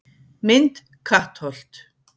Mynd: Kattholt